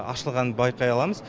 ашылғанын байқай аламыз